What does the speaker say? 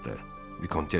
Vikontessa dedi.